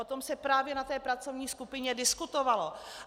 O tom se právě na té pracovní skupině diskutovalo.